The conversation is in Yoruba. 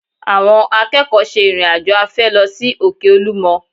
Àwọn akẹ́kọ̀ọ́ ṣe ìrìn-àjò afẹ́ lọ sí òkè Olúmọ